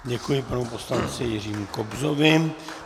Děkuji panu poslanci Jiřímu Kobzovi.